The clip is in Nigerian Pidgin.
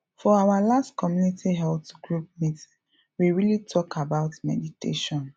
for our last community health group meeting we really talk about meditation